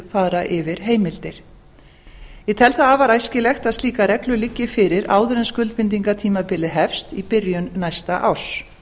fara yfir heimildir ég tel það afar æskilegt að slíkar reglur liggi fyrir áður en skuldbindingartímabili hefst í byrjun næsta árs